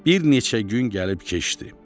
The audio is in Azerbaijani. Bir neçə gün gəlib keçdi.